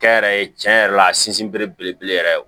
Kɛ n yɛrɛ ye tiɲɛ yɛrɛ la a sinsin bere belebele yɛrɛ ye o